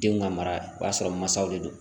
Denw ka mara o b'a sɔrɔ maasaw de don